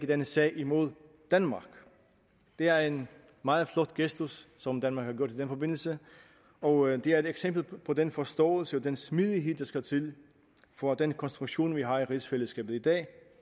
denne sag imod danmark det er en meget flot gestus som danmark har gjort i den forbindelse og det er et eksempel på den forståelse og den smidighed der skal til for at den konstruktion vi har i rigsfællesskabet i dag